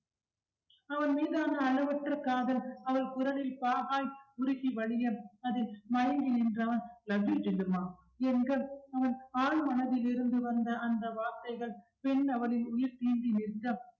அவர் மீதான அளவற்ற காதல் அவள் குரலில் பாகாய் உருகி வழியும் அது மயங்கி நின்றான் love you ஜில்லுமா என்க அவன் ஆழ் மனதில் இருந்து வந்த அந்த வார்த்தைகள் பெண் அவளின் உயிர் தீண்டி நின்ற